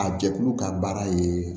A jɛkulu ka baara ye